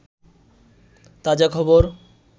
তাজাখবর